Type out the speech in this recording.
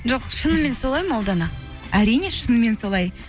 жоқ шынымен солай ма ұлдана әрине шынымен солай